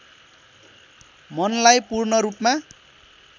मनलाई पूर्ण रूपमा